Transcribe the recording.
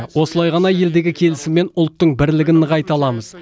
осылай ғана елдегі келісім мен ұлттың бірлігін нығайта аламыз